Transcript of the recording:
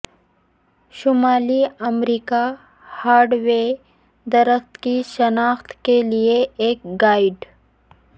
شمالی America hardwood درخت کی شناخت کے لئے ایک گائیڈ